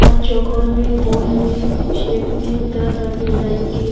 और चोकोर में गोल में शेप में तरह तरह डिजाइन के--